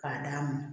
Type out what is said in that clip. K'a d'a ma